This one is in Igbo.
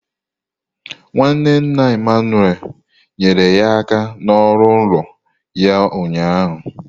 Nwanne nna Emmanuel nyere ya aka n'ọrụ ụlọ ya ụnyaahụ.